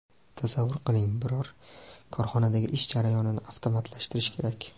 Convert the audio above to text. Tasavvur qiling biror korxonadagi ish jarayonni avtomatlashtirish kerak.